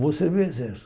Vou servir o Exército.